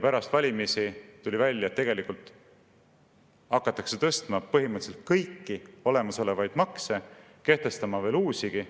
" Pärast valimisi tuli välja, et tegelikult hakatakse tõstma põhimõtteliselt kõiki olemasolevaid makse ja kehtestama veel uusigi.